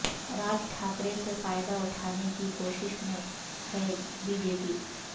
راج ٹھاکرے سے فائدہ اٹھانے کی کوشش میں ہے بی جے پی